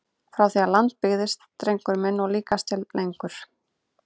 Frá því að land byggðist drengur minn og líkast til lengur!